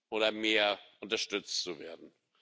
oder mehr unterstützt zu werden.